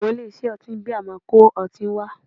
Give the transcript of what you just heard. Àwọn ilé-iṣẹ́ ọtí bíà máa kó ọtí wá